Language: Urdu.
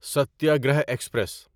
ستیاگرہ ایکسپریس